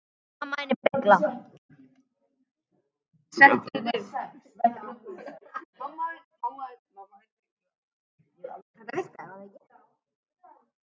Hún var svo heppin að hlaupa beint í flasið á pabba sínum.